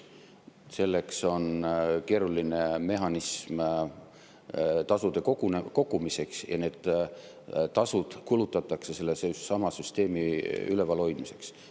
Selleks on keeruline mehhanism tasude kogumiseks ja need tasud kulutatakse sellesama süsteemi ülevalhoidmiseks.